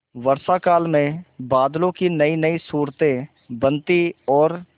वर्षाकाल में बादलों की नयीनयी सूरतें बनती और